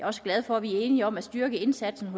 også glad for at vi er enige om at styrke indsatsen